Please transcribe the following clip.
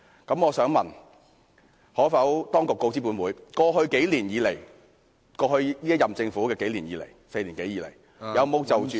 就此，當局可否告知本會：一過去數年，即現屆政府在過去4年多以來，有否就......